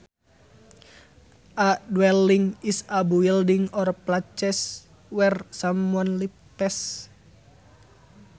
A dwelling is a building or place where someone lives